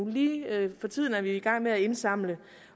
lige for tiden er vi jo i gang med at indsamle